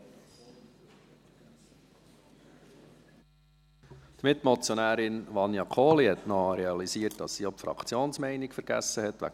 Die Mitmotionärin Vania Kohli hat realisiert, dass sie die Fraktionsmeinung vergessen hat.